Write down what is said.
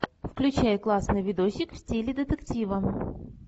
включай классный видосик в стиле детектива